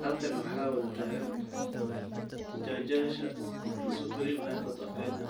Halkan waxa tagan jujyasha katirsan supreme high court of kenya